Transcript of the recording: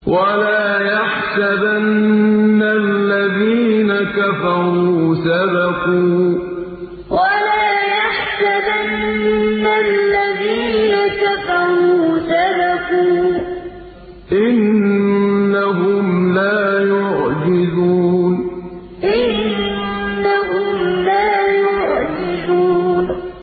وَلَا يَحْسَبَنَّ الَّذِينَ كَفَرُوا سَبَقُوا ۚ إِنَّهُمْ لَا يُعْجِزُونَ وَلَا يَحْسَبَنَّ الَّذِينَ كَفَرُوا سَبَقُوا ۚ إِنَّهُمْ لَا يُعْجِزُونَ